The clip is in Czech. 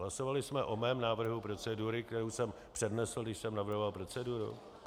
Hlasovali jsme o mém návrhu procedury, kterou jsem přednesl, když jsem navrhoval proceduru?